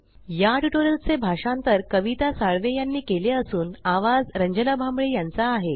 या ट्यूटोरियल चे भाषांतर कविता साळवे यानी केले असून आवाज रंजना भांबळे यांचा आहे